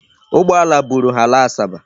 Ụgbọala buru ha laa Asaba.